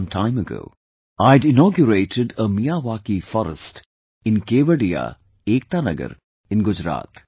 Some time ago, I had inaugurated a Miyawaki forest in Kevadia, Ekta Nagar in Gujarat